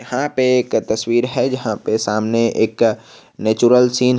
हा पे एक तस्वीर है जहां पे सामने एक नेचुरल सीन है।